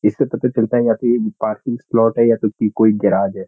इससे पता चलता है की या तो ये पार्किंग स्लॉट है या फिर की कोई गैरज़ है।